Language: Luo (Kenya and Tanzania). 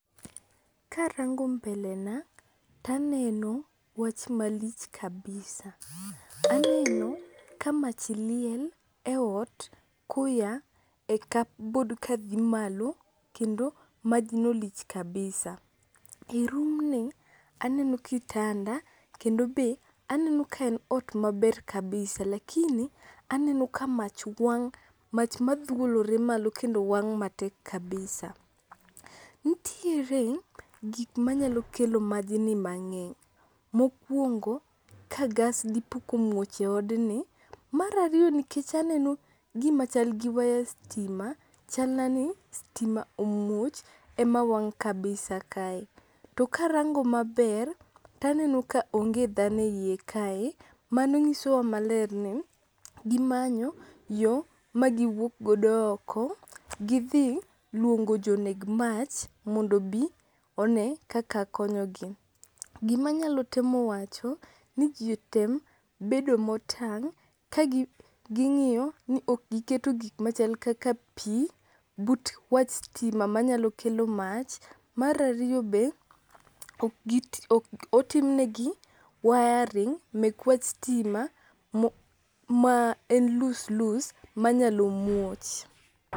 Karango mbele na taneno wach malich kabisa, aneno ka mach liel e ot koya e cupboard kadhi malo kendo majno lich kabisa. E rumni aneno kitanda kendo be aneno ka en ot maber kabisa lakini aneno ka mach wang' mach madhuolore malo kendo wang' matek kabisa. Nitiere gikmanyalo kelo majni mang'eny, mokwongo ka gas dipo komuoch e odni, mar ariyo nikech aneno gimachal gi waya stima chalna ni stima omuoch ema wang' kabisa kae, to karango maber taneno ka onge dhano e iye kae mano ng'isowa maler ni gimanyo yo magiwuokgodo oko gidhi luongo joneg mach mondo obi one kaka konyogi. Gimanyalo temo wacho ni ji otem bedo motang' kaging'iyo ni okgiketo gikmachal kaka pi but wach stima manyalo kelo mach, mar ariyo be, ok otimnegi wiring mek wach stima ma en loose loose manyalo muoch.